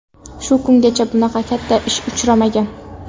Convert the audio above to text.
Shu kungacha bunaqa katta tish uchramagan”.